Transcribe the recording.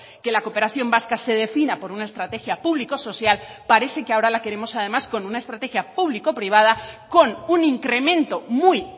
que la cooperación vasca se defina por una estrategia público social parece que ahora la queremos además con una estrategia público privada con un incremento muy